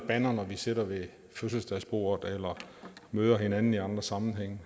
bander når vi sidder ved fødselsdagsbordet eller møder hinanden i andre sammenhænge